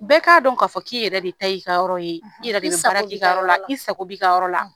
Bɛɛ k'a dɔn k'a fɔ k'i yɛrɛ de ta ye i ka yɔrɔ ye. I yɛrɛ be baara k'i ka yɔrɔ la, i sago b'i ka yɔrɔ la.